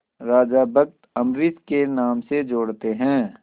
राजा भक्त अम्बरीश के नाम से जोड़ते हैं